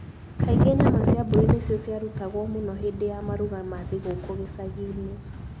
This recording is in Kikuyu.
Kaingĩ nyama cia mbũri nĩcio ciarutagwo mũno hĩndĩ ya maruga ma thigũkũ gĩcagi-inĩ.